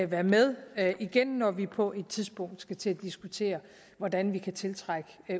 være med igen når vi på et tidspunkt skal til at diskutere hvordan vi kan tiltrække